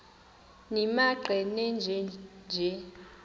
nimaqe nenje nje